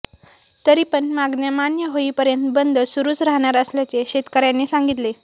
तरीपण मागण्या मान्य होईपर्यंत बंद सुरुच राहणार असल्याचे शेतकऱयांनी सांगितले